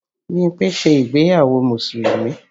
Bímpé ṣe ìgbéyàwó Mùsùlùmí